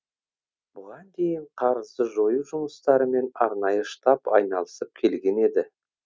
бұған дейін қарызды жою жұмыстарымен арнайы штаб айналысып келген еді